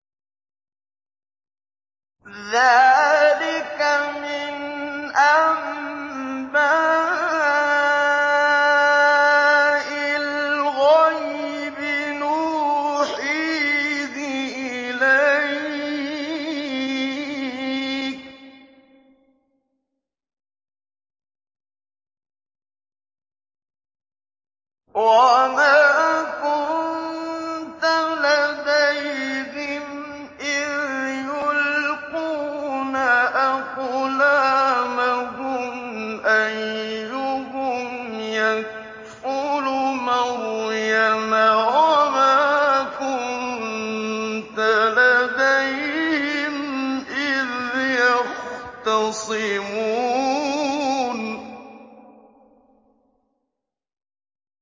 ذَٰلِكَ مِنْ أَنبَاءِ الْغَيْبِ نُوحِيهِ إِلَيْكَ ۚ وَمَا كُنتَ لَدَيْهِمْ إِذْ يُلْقُونَ أَقْلَامَهُمْ أَيُّهُمْ يَكْفُلُ مَرْيَمَ وَمَا كُنتَ لَدَيْهِمْ إِذْ يَخْتَصِمُونَ